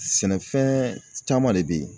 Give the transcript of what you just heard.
Sɛnɛfɛn caman de be yen